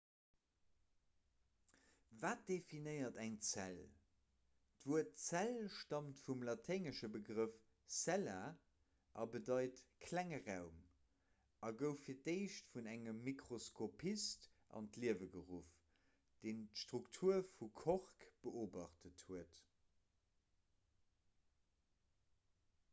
wat definéiert eng zell d'wuert zell staamt vum laténgesche begrëff cella a bedeit klenge raum a gouf fir d'éischt vun engem mikroskopist an d'liewe geruff deen d'struktur vu kork beobacht huet